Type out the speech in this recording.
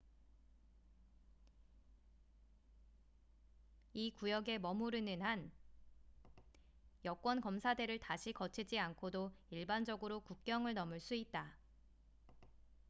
이 구역에 머무르는 한 여권 검사대를 다시 거치지 않고도 일반적으로 국경을 넘을 수 있다